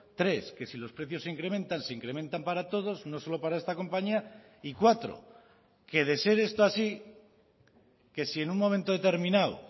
tres que si los precios se incrementan se incrementan para todos no solo para esta compañía y cuatro que de ser esto así que si en un momento determinado